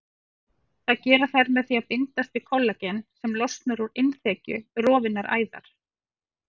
Það gera þær með því að bindast við kollagen sem losnar úr innþekju rofinnar æðar.